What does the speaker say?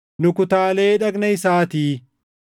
nu kutaalee dhagna isaatii.